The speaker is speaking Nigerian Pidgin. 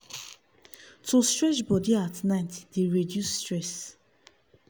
to stretch body at night dey reduce stress.